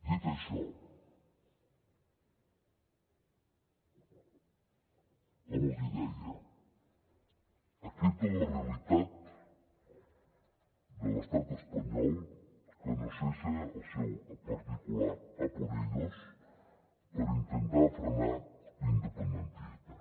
dit això com els hi deia aquesta és la realitat de l’estat espanyol que no cessa el seu particular a por ellos per intentar frenar l’independentisme